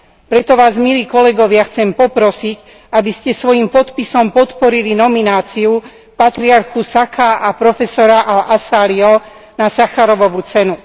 Preto Vás, milí kolegovia, chcem poprosiť, aby ste svojím podpisom podporili nomináciu patriarchu Saka a profesora al Asálího na Sacharovovu cenu.